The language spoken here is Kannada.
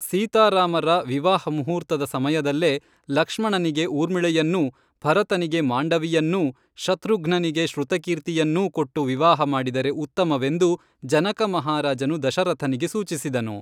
ಸೀತಾರಾಮರ ವಿವಾಹ ಮೂಹೂರ್ತದ ಸಮಯದಲ್ಲೇ ಲಕ್ಷ್ಮಣನಿಗೆ ಊರ್ಮಿಳೆಯನ್ನೂ, ಭರತನಿಗೆ ಮಾಂಡವಿಯನ್ನೂ, ಶತ್ರುಘ್ನನಿಗೆ ಶ್ರುತಕೀರ್ತಿಯನ್ನೂ, ಕೊಟ್ಟು ವಿವಾಹ ಮಾಡಿದರೆ ಉತ್ತಮವೆಂದು ಜನಕ ಮಹಾರಾಜನು ದಶರಥನಿಗೆ ಸೂಚಿಸಿದನು